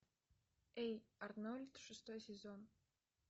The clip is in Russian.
эй арнольд шестой сезон